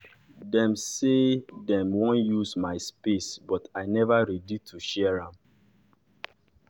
dem say dem wan use my space but i neva ready to share am.